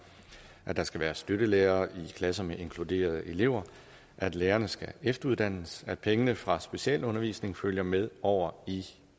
at der skal være støttelærere i klasser med inkluderede elever at lærerne skal efteruddannes at pengene fra specialundervisningen følger med over i